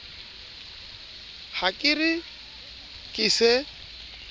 ha ke re ke se